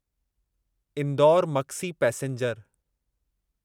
Indore Maksi passenger